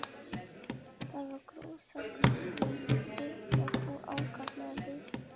Þar var gróðursælt um að litast og ákaflega víðsýnt.